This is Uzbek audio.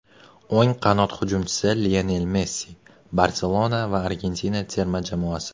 o‘ng qanot hujumchisi Lionel Messi ("Barselona" va Argentina terma jamoasi).